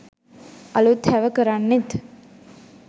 අළුත් හැව කරන්නෙත්